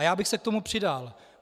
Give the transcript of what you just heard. A já bych se k tomu přidal.